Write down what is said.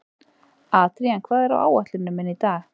Adrían, hvað er á áætluninni minni í dag?